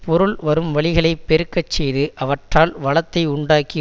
பொருள் வரும் வழிகளைப் பெருக்க செய்து அவற்றால் வளத்தை உண்டாக்கி